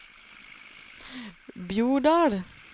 Bjordal